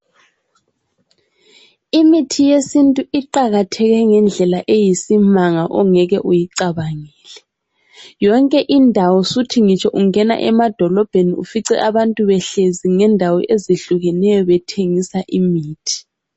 Imithi yesintu iqakatheke ngendlela eyisimanga ongeke uyicabangele. Yonke indawo suthi ngitsho ungena emadolobheni ufice abantu behlezi ngendawo ezihlukeneyo bethengisa imithi.